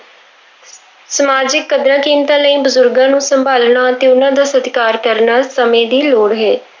ਸਮਾਜਿਕ ਕਦਰਾਂ ਕੀਮਤਾਂ ਲਈ ਬਜ਼ੁਰਗਾਂ ਨੂੰ ਸੰਭਾਲਣਾ ਤੇ ਉਹਨਾਂ ਦਾ ਸਤਿਕਾਰ ਕਰਨਾ ਸਮੇਂ ਦੀ ਲੋੜ ਹੈ।